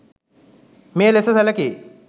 මෙය ලෙස සැලකේ.